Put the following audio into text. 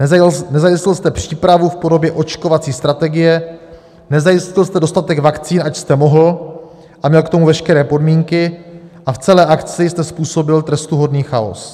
Nezajistil jste přípravu v podobě očkovací strategie, nezajistil jste dostatek vakcín, ač jste mohl a měl k tomu veškeré podmínky, a v celé akci jste způsobil trestuhodný chaos.